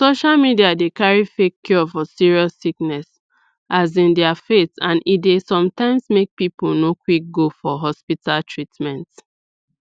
social media dey carry fake cure for serious sickness as in their faith and e dey sometimes make people no quick go for hospital treatment